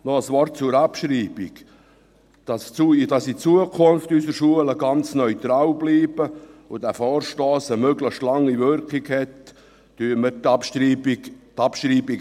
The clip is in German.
Noch ein Wort zur Abschreibung: Damit in Zukunft unsere Schulen ganz neutral bleiben und dieser Vorstoss eine möglichst lange Wirkung hat, bestreiten wir die Abschreibung.